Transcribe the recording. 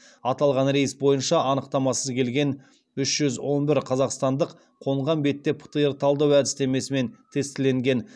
аталған рейс бойынша анықтамасыз келген үш жүз он бір қазақстандық қонған бетте птр талдау әдістемесімен тестіленген